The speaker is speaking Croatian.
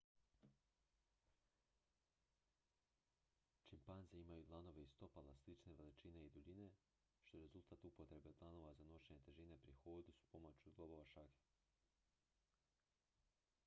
čimpanze imaju dlanove i stopala slične veličine i duljine što je rezultat upotrebe dlanova za nošenje težine pri hodu s pomoću zglobova šake